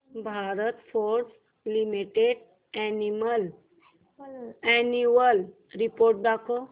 Bharat Forge limited annual report दाखव